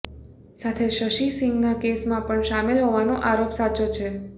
સાથે શશિ સિંહના કેસમાં પણ શામેલ હોવાનો આરોપ સાચો છે